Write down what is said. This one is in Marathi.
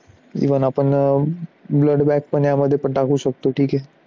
Even पण blood bag पण यामध्ये टाकू शकतो.